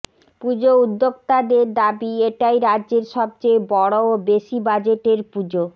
পুজো উদ্যোক্তাদের দাবি এটাই রাজ্যের সবচেয়ে বড় ও বেশি বাজেটের পুজো